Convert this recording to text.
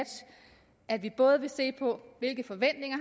at vi både vil se på hvilke forventninger